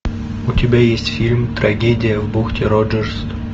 у тебя есть фильм трагедия в бухте роджерс